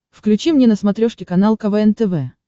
включи мне на смотрешке канал квн тв